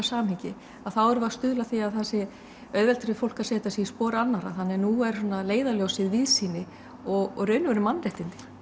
samhengi þá erum við að stuðla að því að það sé auðvelt fyrir fólk að setja sig í spor annarra þannig að nú er svona leiðarljósið víðsýni og í raun og veru mannréttindi